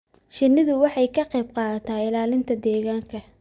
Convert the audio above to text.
Shinnidu waxay ka qayb qaadataa ilaalinta deegaanka.